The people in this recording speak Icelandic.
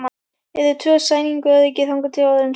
Eru tvö í sænguröryggi þangað til orðin trufla.